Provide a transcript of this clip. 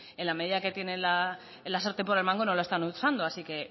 en la medida que tienen la sartén por el mango no la están usando así que